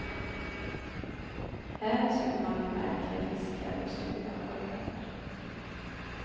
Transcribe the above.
Här simmar märkliga fiskar och stora sköldpaddor.